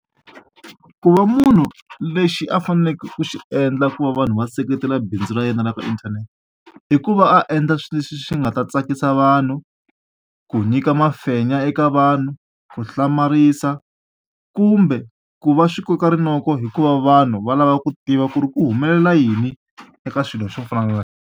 Ku va munhu lexi a faneleke ku xi endla ku va vanhu va seketela bindzu ra yena la ka inthanete i ku va a endla xilo lexi xi nga ta tsakisa vanhu ku nyika mafenya eka vanhu ku hlamarisa kumbe ku va swi koka rinoko hikuva vanhu va lava ku tiva ku ri ku humelela yini eka swilo swo fana na.